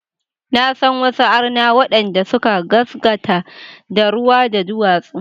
Na san wasu arna waɗanda suka gaskata da ruwa, da duwatsu.